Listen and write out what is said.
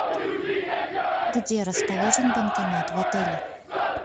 где расположен банкомат в отеле